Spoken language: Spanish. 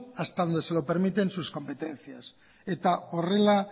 hasta donde se lo permiten sus competencias eta horrela